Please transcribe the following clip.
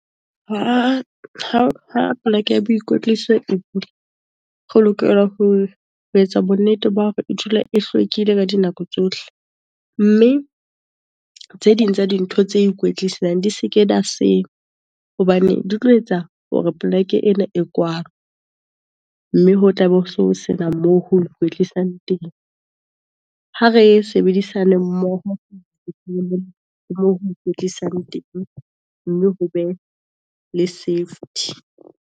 Ha poleke ya boikwetliso e bula, re lokela ho etsa bonnete ba hore e dula e hlwekile ka dinako tsohle, mme tse ding tsa dintho tse ikwetlisang di se ke , hobane di tlo etsa hore poleke ena e kwalwe. Mme ho tla be ho sena moo ho kwetlisang teng, ha re sebedisane mmoho moo ho ikwetlisang teng, mme ho be le safety.